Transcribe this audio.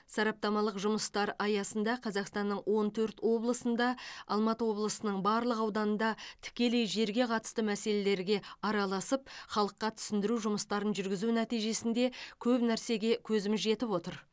сараптамалық жұмыстар аясында қазақстанның он төрт облысында алматы облысының барлық ауданында тікелей жерге қатысты мәселелерге араласып халыққа түсіндіру жұмыстарын жүргізу нәтижесінде көп нәрсеге көзіміз жетіп отыр